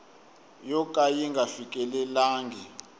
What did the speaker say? yo ka yi nga fikelelangi